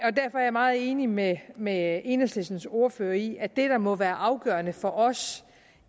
meget enig med med enhedslistens ordfører i at det der må være afgørende for os